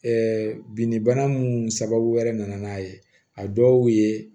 binni bana mun sababu wɛrɛ nana n'a ye a dɔw ye